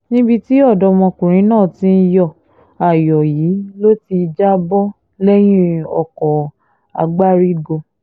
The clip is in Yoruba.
níbi tí ọ̀dọ́mọkùnrin náà ti ń yọ ayọ̀ yìí ló ti já bọ́ lẹ́yìn ọkọ̀ àgbárígò